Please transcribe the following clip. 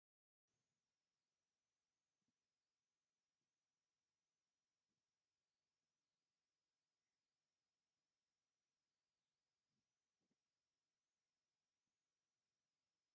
ቐናኒሳ በቐለ ይበሃል ኣብ ኢ/ያ ካብቶም ፍሉጣት ንፉዓት ኣትሌታት ሓደ እዩ፡ ንሃገሩ ኢ/ያ ክንደይ ወርቕን፣ ብሩርን ነሃስን መዳልያ ኣምፂኡ ኣሎ ?